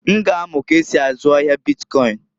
N ga amu k'esi azụ ahia bitkọịn.